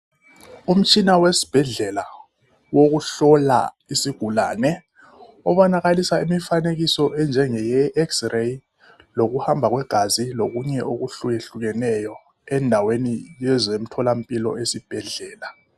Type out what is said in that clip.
Imitshina wesibhedlela wokuhlola isigulane ubonakalisa imifanekiso enjengeye x-ray lokuhamba kwegazi lokunye okuhlukehlukeneyo endaweni yezemtholampilo esibhedlela.